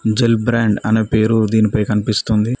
Gel brand అనే పేరు దీనిపై కనిపిస్తుంది.